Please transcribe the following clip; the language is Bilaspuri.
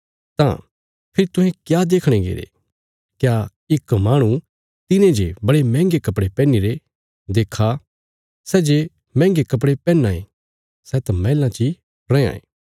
तां फेरी तुहें क्या देखणे गईरे क्या इक माहणु तिने जे बड़े मैंहगे कपड़े पैहनीरे नां देक्खा सै जे मैंहगे कपड़े पैहनां ये सै त मैहलां ची रैयां ये